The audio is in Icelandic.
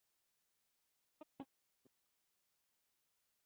Höskuldur: Fyrir hvað miklu?